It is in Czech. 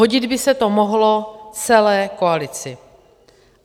Hodit by se to mohlo celé koalici.